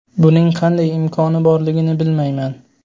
Buning qanday imkoni borligini bilmayman.